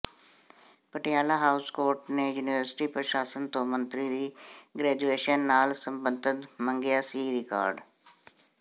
Patiala House Court ਨੇ university ਪ੍ਰਸ਼ਾਸਨ ਤੋਂ ਮੰਤਰੀ ਦੀ ਗ੍ਰੈਜੁੂਏਸ਼ਨ ਨਾਲ ਸਬੰਧਤ ਮੰਗਿਆ ਸੀ ਰਿਕਾਰਡ